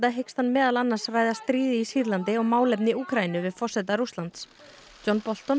hyggst hann meðal annars ræða stríðið í Sýrlandi og málefni Úkraínu við forseta Rússlands John Bolton